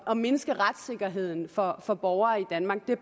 at mindske retssikkerheden for for borgere i danmark det